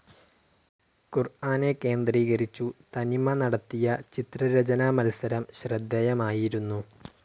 ഖുർആനെ കേന്ദ്രീകരിച്ചു തനിമ നടത്തിയ ചിത്രരചനാ മത്സരം ശ്രദ്ധേയമായിരുന്നു.